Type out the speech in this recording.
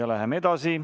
Läheme edasi.